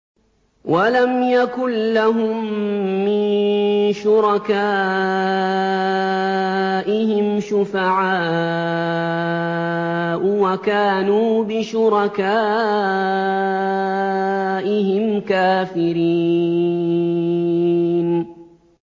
وَلَمْ يَكُن لَّهُم مِّن شُرَكَائِهِمْ شُفَعَاءُ وَكَانُوا بِشُرَكَائِهِمْ كَافِرِينَ